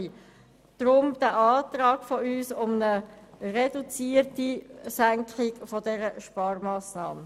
Deshalb unser Antrag auf eine reduzierte Umsetzung dieser Sparmassnahme.